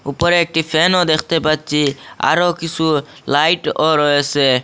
উপরে একটি ফ্যানও দেখতে পাচ্ছি আরো কিছু লাইটও রয়েসে।